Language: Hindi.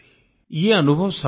यह अनुभव सबका है